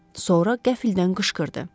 Sonra qəfildən qışqırdı.